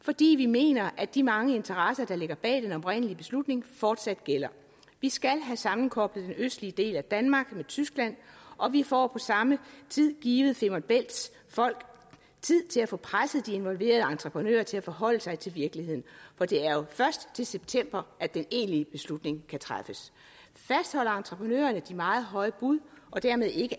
fordi vi mener at de mange interesser der ligger bag den oprindelige beslutning fortsat gælder vi skal have sammenkoblet den østlige del af danmark med tyskland og vi får på samme tid givet femern bælts folk tid til at få presset de involverede entreprenører til at forholde sig til virkeligheden for det er jo først til september at den egentlige beslutning kan træffes fastholder entreprenørerne de meget høje bud og dermed ikke